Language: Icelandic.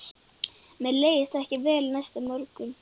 Mér leið ekkert vel næsta morgun.